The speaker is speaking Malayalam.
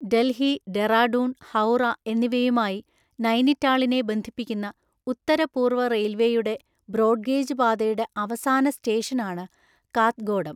ഡൽഹി, ഡെറാഡൂൺ, ഹൌറ എന്നിവയുമായി നൈനിറ്റാളിനെ ബന്ധിപ്പിക്കുന്ന ഉത്തരപൂര്‍വ റെയിൽവേയുടെ ബ്രോഡ്ഗേജ് പാതയുടെ അവസാനസ്റ്റേഷനാണ് കാത്ഗോഡം.